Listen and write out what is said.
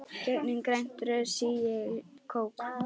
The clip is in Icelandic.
Gegnum grænt rör sýg ég kók.